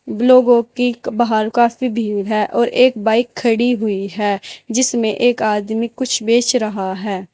लोगों की बाहर काफी भीड़ है और एक बाइक खड़ी हुई है जिसमें एक आदमी कुछ बेच रहा है।